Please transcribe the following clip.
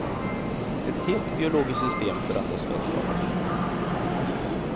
Ett helt biologiskt system förändras för att skapa liv.